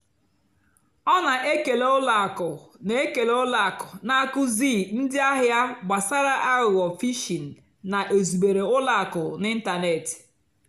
ọ́ nà-ékélè ùlọ àkụ́ nà-ékélè ùlọ àkụ́ nà-ákụ́zíì ndí àhìá gbàsàrà àghụ́ghọ́ phìshìng nà-èzùbérè ùlọ àkụ́ n'ị́ntánètị́.